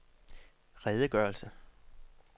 redegørelse